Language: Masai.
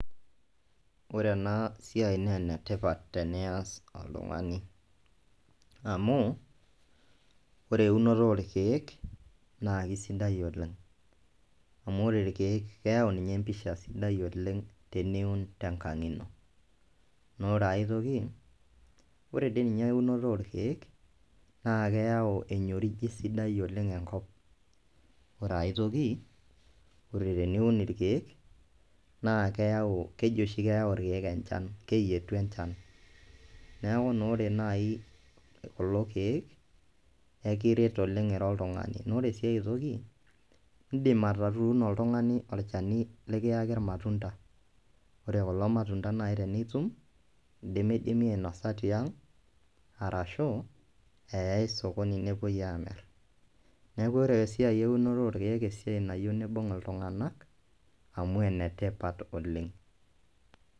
Kore ena siaaai naa enetipat teniyas oltungani amuu ore eunoto orkeek naa esidai oleng amu ore orkeek keyau ninye empisha sidai oleng teniun te nkang ino, naa ore aitoki, ore dei ninye eunoto orkeek naa keyau enyoriji sidai oleng enkop, ore aitoki, kore teniun irkeek naaa keyau keji oshi keyau irkeek enshan, naaku ore naaii kulo keek naa keret oleng ltungani, naa ore sii aitoki indim atuuno ltungani olshani likiyaki ilmatunda, ore kulo lmatunda naii tenitum indimidim ainosa te aang' arashu eyai sokoni nepoi aamir, naaku ore esiai eunoto orkeek naa esiai nayeu neibung' iltunganak amu enetipat oleng.